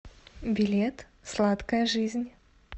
билет сладкая жизнь